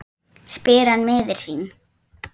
spyr hann miður sín.